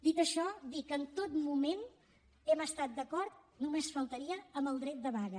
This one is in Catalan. dit això dir que en tot moment hem estat d’acord només faltaria amb el dret de vaga